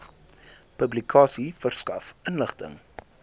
publikasie verskaf inligting